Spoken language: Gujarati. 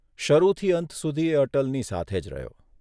શરૂથી અંત સુધી એ અટલની સાથે જ રહ્યો.